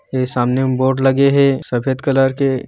यह सामने मे बोड लगे हे सफेद कलर के।